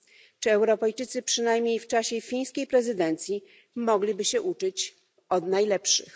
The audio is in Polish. Czy Europejczycy przynajmniej w czasie fińskiej prezydencji nie mogliby się uczyć od najlepszych?